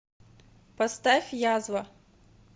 поставь язва